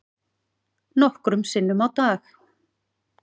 Nokkrum sinnum á dag.